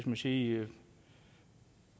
man sige